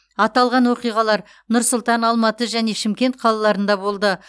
аталған оқиғалар нұр сұлтан алматы және шымкент қалаларында болды